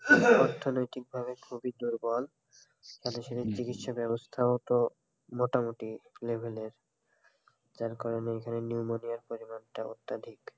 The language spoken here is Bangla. অর্থনৈতিক ভাবে খুবই দূর্বল মানে সেদিন চিকিৎসা ব্যবস্থাও তো মোটামুটি level এর যার কারণে এখানে নিউমোনিয়া পরিমাণটা অত্যাধিক.